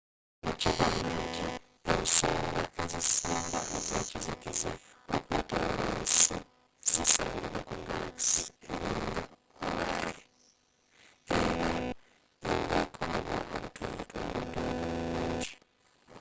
kino kigamba nti ensonga ezisinga ezenzikiza okwetoolola ensi zisangibwa ku galaxe eringa owaye” era ngekolebwa obutundutundu obutonotpono bungi